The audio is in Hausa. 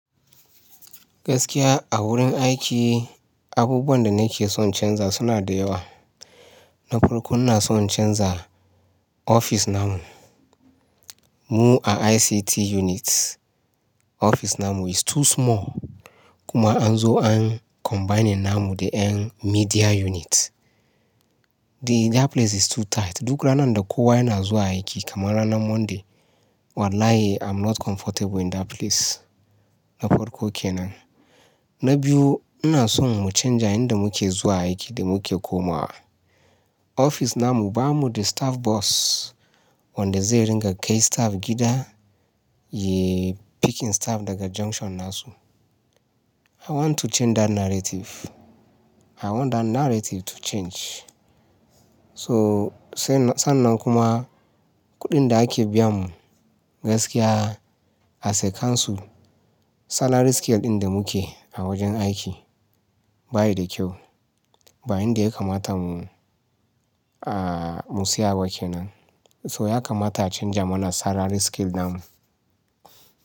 Gaskiya a wurin aiki abubuwan da nake son in canza suna da yawa. Na farko ina son in canza ofis namu. Mu a ICT unit, ofis namu is too small kuma an zo an combining namu da ƴan media unit. The that place is too tight. Duk rana da kowa yana zuwa aiki kaman ranar Monday, wallahi I'm not comfortable in that place. Na farko kenan. Na biyu ina son mu canja yanda muke zuwa aiki da muke komawa. Ofis namu ba mu da staff bus wanda zai ringa kai staff gida yai picking staff daga junction nasu. I want to change that narrative. I want that narrative to change. So sannan kuma kuɗin da ake biya mu gaskiya as a council, salary scale ɗin da muke a wajen aiki bayi da kyau. Ba yanda ya kamata mu, mu tsaya ba kenan. So ya kamata a canja mana salary scale namu.